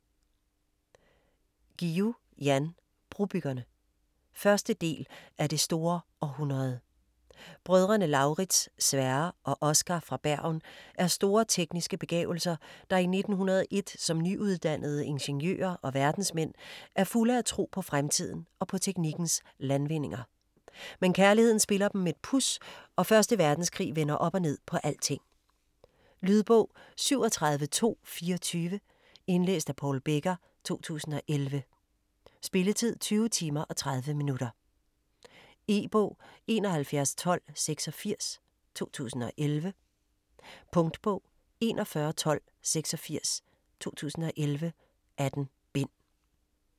Guillou, Jan: Brobyggerne 1. del af Det store århundrede. Brødrene Lauritz, Sverre og Oscar fra Bergen er store tekniske begavelser, der i 1901 som nyuddannede ingeniører og verdensmænd er fulde af tro på fremtiden og på teknikkens landvindinger. Men kærligheden spiller dem et puds, og første verdenskrig vender op og ned på alting. Lydbog 37224 Indlæst af Paul Becker, 2011. Spilletid: 20 timer, 30 minutter. E-bog 711286 2011. Punktbog 411286 2011. 18 bind.